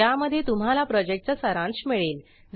ज्यामध्ये तुम्हाला प्रॉजेक्टचा सारांश मिळेल